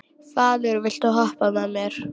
Falur, viltu hoppa með mér?